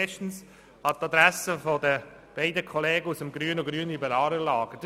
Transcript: Erstens an die Adresse der beiden Kollegen aus dem grünen und grünliberalen Lager.